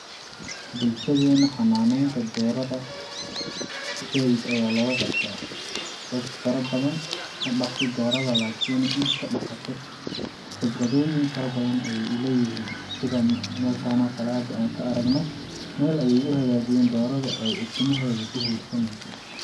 Bulshadeena xanaaneynta doorada saaid ayaa looga qabta, dad faro badan manaqdo doorada lakini inta dhaqato khibradooyin faro badan ayee uleeyihiin sida meeshan oo kale hada aan ka aragno meel ayee u hagaajiyeen doorada oo ey ukumeheeda ku huursaneyso.